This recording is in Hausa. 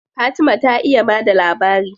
Fatima ta iya ba da labari.